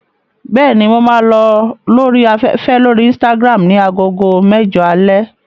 Bẹ́ẹ̀ni, mo máa lọ lórí afẹ́fẹ́ lórí Instagram ní agogo mẹ́jọ alẹ́.